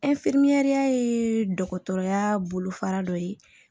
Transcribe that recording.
ye dɔgɔtɔrɔya bolofara dɔ ye